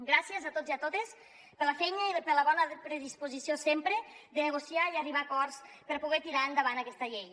gràcies a tots i a totes per la feina i per la bona predisposició sempre de negociar i arribar a acords per poder tirar endavant aquesta llei